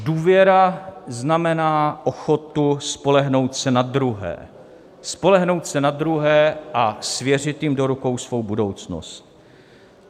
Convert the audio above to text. Důvěra znamená ochotu spolehnout se na druhé, spolehnout se na druhé a svěřit jim do rukou svou budoucnost.